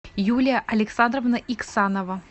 юлия александровна иксанова